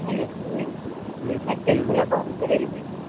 लग्गेच तुला call करेल मी